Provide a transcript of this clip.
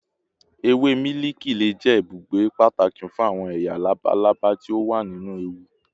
Ewe miliki le jẹ ibugbe pataki fun awọn eya labalaba ti o wa ninu ewu